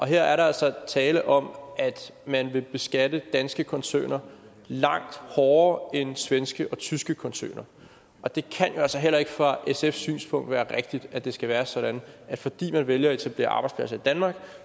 her er der altså tale om at man vil beskatte danske koncerner langt hårdere end svenske og tyske koncerner og det kan jo altså heller ikke fra sfs synspunkt være rigtigt at det skal være sådan at fordi man vælger at etablere arbejdspladser i danmark